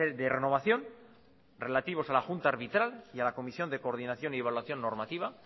de renovación relativos a la junta arbitral y a la comisión de coordinación y evaluación formativa